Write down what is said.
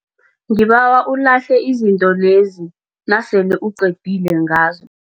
Ngibawa ulahle izinto lezi nasele uqedile ngazo.